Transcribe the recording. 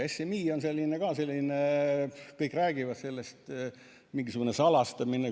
SMI on ka selline, kõik räägivad sellest, mingisugune salastamine.